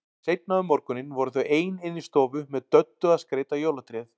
Seinna um morguninn voru þau ein inni í stofu með Döddu að skreyta jólatréð.